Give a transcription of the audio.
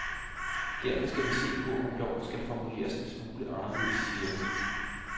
Derfor skal vi se på, om loven skal formuleres en smule anderledes, siger hun.